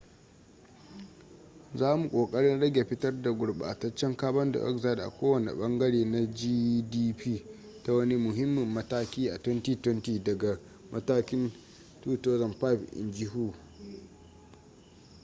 za mu kokarin rage fitar da gurbataccen carbon dioxide a kowane bangare na gdp ta wani muhimmin mataki a 2020 daga matakin 2005 in ji hu